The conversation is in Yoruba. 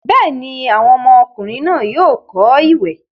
bẹ́ẹ̀ni, àwọn ọmọkùnrin náà yóò kọ́ ìwẹ̀.